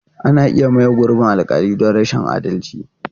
Ana iya maye gurbin alƙali don rashin adalci.